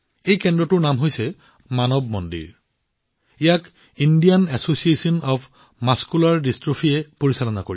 এই কেন্দ্ৰটোৰ নাম হৈছে মানৱ মন্দিৰ এইটো ইণ্ডিয়ান এছচিয়েচন অব্ মাস্কুলাৰ ডিষ্ট্ৰোফিৰ দ্বাৰা পৰিচালিত